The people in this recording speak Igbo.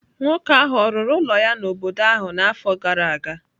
Nwoke ahụ ọ̀ rụrụ ụlọ ya n’obodo ahụ n’afọ gara aga?